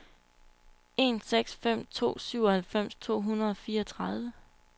en seks fem to syvoghalvfems to hundrede og fireogtredive